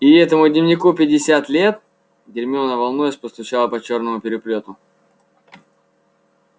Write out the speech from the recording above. и этому дневнику пятьдесят лет гермиона волнуясь постучала по чёрному переплёту